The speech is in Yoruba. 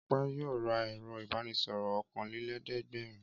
Ọpẹ́ yóò ra ẹ̀rọ-ìbánisọ̀rọ̀ ọ̀kanlélẹ́ẹ̀dẹ́gbẹ̀rún.